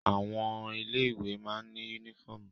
Àwọn ilé ìwé má ní yúnífọ̀mù